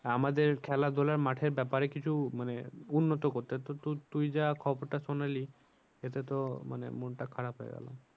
আমাদের খেলা ধুলা মাঠের ব্যাপারে কিছু মানে উন্নত করতে তো তুই যা খবরটা শোনালি এতে তো মানে মনটা খারাপ হয়ে গেলো।